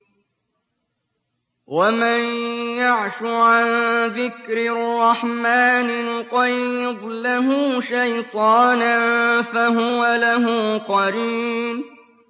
وَمَن يَعْشُ عَن ذِكْرِ الرَّحْمَٰنِ نُقَيِّضْ لَهُ شَيْطَانًا فَهُوَ لَهُ قَرِينٌ